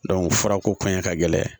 furako kaɲi ka gɛlɛya